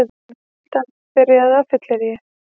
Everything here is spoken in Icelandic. Framhjáhaldið byrjaði á fylleríi